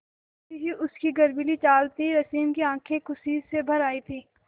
वैसी ही उसकी गर्वीली चाल थी रश्मि की आँखें खुशी से भर आई थीं